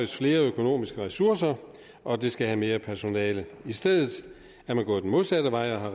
flere økonomiske ressourcer og det skal have mere personale i stedet er man gået den modsatte vej og har